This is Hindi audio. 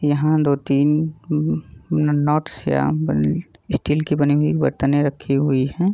यहाँ दो-तीन हम्म हम्म नॉट श्याम बल्ट स्टील की बनी हुई बर्तनें रखी हुई हैं।